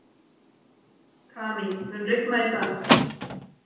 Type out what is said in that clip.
Kamí, mun rigna í dag?